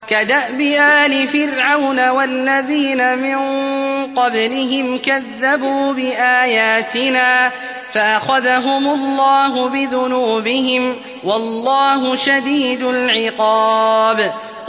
كَدَأْبِ آلِ فِرْعَوْنَ وَالَّذِينَ مِن قَبْلِهِمْ ۚ كَذَّبُوا بِآيَاتِنَا فَأَخَذَهُمُ اللَّهُ بِذُنُوبِهِمْ ۗ وَاللَّهُ شَدِيدُ الْعِقَابِ